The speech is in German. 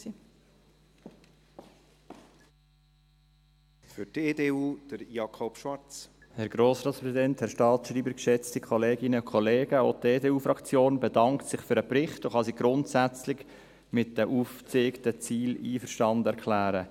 Auch die EDU-Fraktion bedankt sich für den Bericht und kann sich grundsätzlich mit den aufgezeigten Zielen einverstanden erklären.